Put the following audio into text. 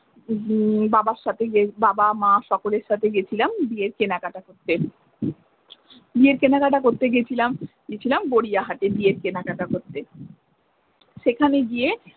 বাবার সাথে গিয়ে বাবা মা সকলের সাথে গেছিলাম বিয়ের কেনাকাটা করতে বিয়ের কেনাকাটা করতে গেছিলাম গরিয়াহাটে বিয়ের কেনাকাটা করতে সেখানে গিয়ে।